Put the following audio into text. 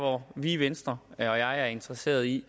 og vi i venstre er interesseret i